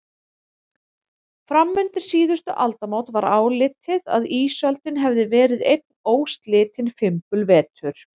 Fram undir síðustu aldamót var álitið að ísöldin hefði verið einn óslitinn fimbulvetur.